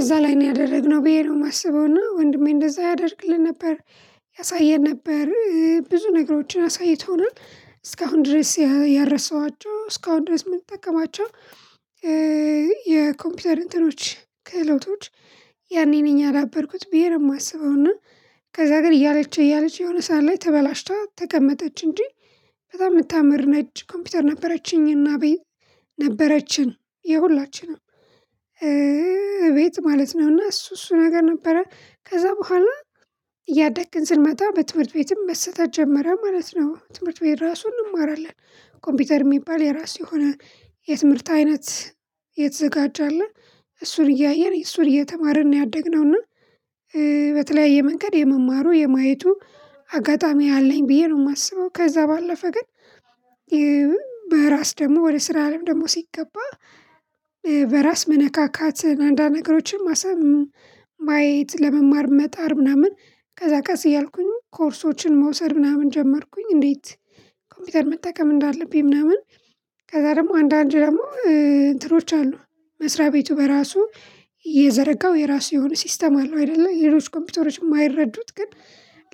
እዛ ላይ ነው ያደረግነው ብዬ ነው የማስበው። ና ወንድሜ እንደዛ ያደርግልን ነበር። ያሳየን ነበር። ብዙ ነገሮችን አሳይቶናል። እስካሁን ድረስ ያረሰኋቸው እስካሁን ድረስ እምጠቀማቸው- የኮምፒውተር እንትኖች ክህሎቶች ያኔ ነኝ ያዳበርኩት ብዬ ነው የማስበው። እና ከዛ ግን እያለች እያለች የሆነ ሰዓት ላይ ተበላሽታ ተቀመጠች እንጂ። በጣም የምታምር ነች ኮምፒውተር ነበረችኝና- ነበረችን የሁላችንም እቤት ማለት ነው። ና እሱ እሱ ነገር ነበረ። ከዛ በኋላ እያደግን ስንመጣ በትምህርት ቤትም መሰጠት ጀመረ ማለት ነው። ትምህርት ቤት ራሱን እንማራለን። ኮምፒውተር የሚባል የራሱ የሆነ የትምህርት አይነት የተዘጋጀ አለ። እሱን እያየን እሱን እየተማርን ነው ያደግነው። እና በተለያየ መንገድ የመማሩ የማየቱ አጋጣሚ አለኝ ብዬ ነው የማስበው። ከዛ ባለፈ ግን- በራስ ደግሞ ወደ ስራ አለም ደግሞ ሲገባ በራስ መነካካትን አንዳንድ ነገሮችን ማሰብ ማየት ለመማር መጣር ምናምን ከዛ ቀስ እያልኩኝ ኮርሶችን መውሰድ ምናምን ጀመርኩኝ እንዴት ኮምፒውተር መጠቀም እንዳለብኝ ምናምን- ከዛ ደግሞ አንዳንድ ደግሞ እንትኖች አሉ። መስሪያ ቤቱ በራሱ የዘረጋው የራሱ የሆነ ሲስተም አለው አይደለ። ሌሎች ኮምፒውተሮች የማይረዱት ግን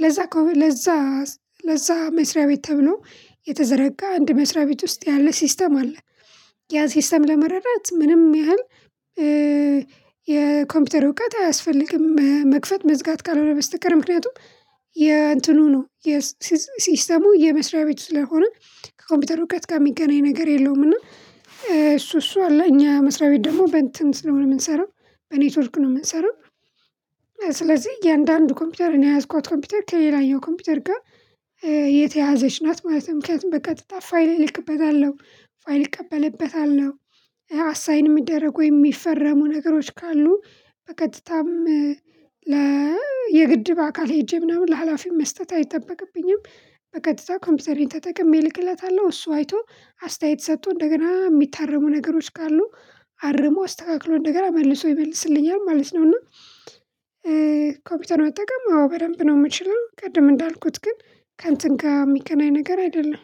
ለዛ ለዛ ለዛ መስሪያ ቤት ተብሎ የተዘረጋ አንድ መስሪያ ቤት ውስጥ ያለ ሲስተም አለ። ያ ሲስተም ለመረዳት ምንም ያህል የኮምፒውተር እውቀት አያስፈልግም።:መክፈት መዝጋት ካልሆነ በስተቀር። ምክንያቱም:- የእንትኑ ነው። ሲስተሙ የመስሪያ ቤት ስለሆነ ከኮምፒውተር እውቀት ጋር የሚገናኝ ነገር የለውም። እና- እሱ እሱ አለ። እኛ መስሪያ ቤት ደግሞ በእንትን ስለሆነ የምንሰራው በኔትወርክ ነው የምንሰራው። ስለዚህ እያንዳንዱ ኮምፒውተር እኔ የያዝኳት ኮምፒውተር ከሌላየው ኮምፒውተር ጋር- የተያያዘች ናት ማለት ነው። ምክንያቱም በቀጥታ ፋይል እልክበታለሁ። ፋይል ይቀበልበታል። አሳይን የሚደረገ የሚፈረሙ ነገሮች ካሉ በቀጥታም የግድ በአካል ሄጄ ምናምን ለሀላፊው መስጠት አይጠበቅብኝም በቀጥታ ኮምፒውተሬን ተጠቅሜ ልክለታለሁ። እሱ አይቶ አስተያየት ሰጥቶ እንደገና የሚታረሙ ነገሮች ካሉ አርሞ አስተካክሎ እደገና መልሶ ይመልስልኛል ማለት ነው። እና ኮፒውተር መጠቀም አዎ በደንብ ነው የምችለው። ቅድም እንዳልኩት ግን ከንተን ጋር የሚገናኝ ነገር አይደለም።